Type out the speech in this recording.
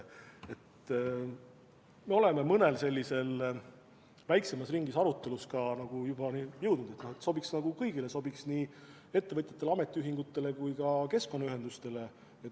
Me oleme mõnes väiksema ringi arutelus ka juba jõudnud selleni, et see sobiks kõigile, sobiks nii ettevõtjatele, ametiühingutele kui ka keskkonnaühendustele.